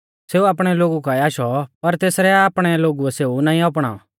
सेऊ आपणै लोगु काऐ आशौ पर तेसरै आपणै लोगुऐ सेऊ नाईं अपणाऔ